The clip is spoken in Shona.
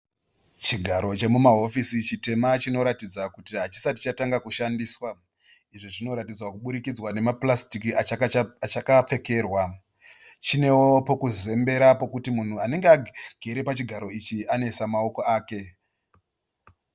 Chigaro chemumahofisi chitema chinoratidza kuti hachisati chatanga kushandiswa. Izvo zvinoratidzwa kuburikidza nema purasitiki achichakapfekerwa. Chineo pekuzembera pekuti munhu anenge agere pachigaro ichi anoisa maoko ake.